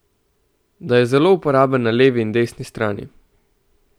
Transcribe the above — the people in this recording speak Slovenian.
Da je zelo uporaben na levi in desni strani.